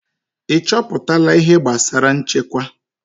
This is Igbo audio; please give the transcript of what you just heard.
Ị chọpụtala ihe gbasara nchekwa?